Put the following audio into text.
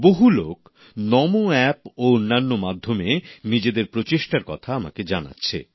বহু লোক নমো অ্যাপ ও অন্যান্য মাধ্যমে নিজেদের প্রচেষ্টার কথা আমাকে জানাচ্ছে